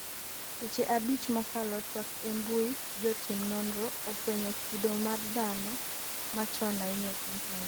seche abich mokalo twak e mbui jotim norno ofwenyo kido mar dhano machon ahinya e piny Tanzania